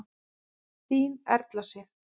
Þín Erla Sif.